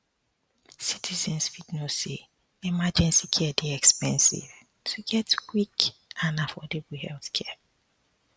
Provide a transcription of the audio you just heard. citizens fit know say emergency care dey expensive to get quick and affordable healthcare